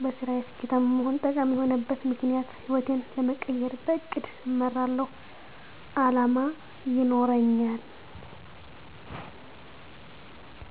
-በስራየ ስኬታማ መሆን - ጠቃሚ የሆነበት ምክኒያት ህይወቴን ለመቀየር -በእቅድ እመራለሁ አላማ ይኖረኛል